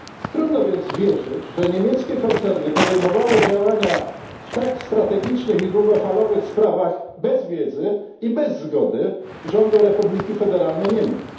Trudno więc wierzyć, że niemieckie koncerny podejmowały działania w tak strategicznych długofalowych sprawach bez wiedzy i bez zgody rządu Republiki Federalnej Niemiec.